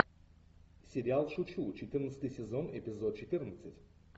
сериал шучу четырнадцатый сезон эпизод четырнадцать